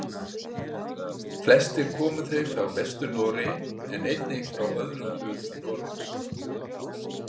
Flestir komu þeir frá Vestur-Noregi en einnig frá öðrum hlutum Noregs.